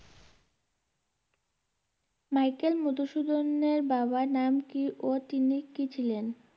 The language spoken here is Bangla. মাইকেল মধুসূদনের বাবার নাম কী ও তিনি কী ছিলেন?